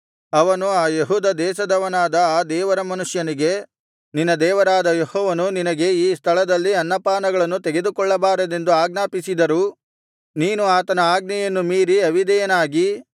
ಅವನು ಆ ಯೆಹೂದ ದೇಶದವನಾದ ಆ ದೇವರ ಮನುಷ್ಯನಿಗೆ ನಿನ್ನ ದೇವರಾದ ಯೆಹೋವನು ನಿನಗೆ ಈ ಸ್ಥಳದಲ್ಲಿ ಅನ್ನಪಾನಗಳನ್ನು ತೆಗೆದುಕೊಳ್ಳಬಾರದೆಂದು ಆಜ್ಞಾಪಿಸಿದರೂ ನೀನು ಆತನ ಆಜ್ಞೆಯನ್ನು ಮೀರಿ ಅವಿಧೇಯನಾಗಿ